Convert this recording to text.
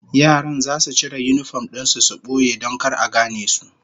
Yaran zasu cire yinifom din su su boye don kar a gane su